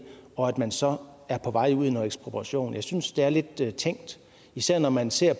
og at man så er på vej ud i noget ekspropriation jeg synes det er lidt tænkt især når man ser